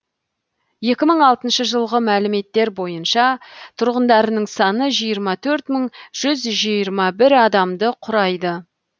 екі мың алтыншы жылғы мәліметтер бойынша тұрғындарының саны жиырма төрт мың жүз жиырма бір адамды құрайды